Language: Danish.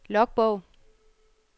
logbog